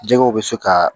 Jɛgɛw bɛ se ka